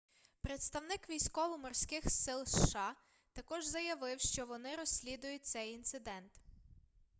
представник військово-морских сил сша також заявив что вони розслідують цей інцидент